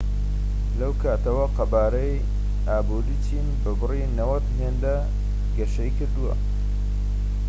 لەو کاتەوە، قەبارەی ئابووری چین بە بڕی 90 هێندە گەشەی کردووە‎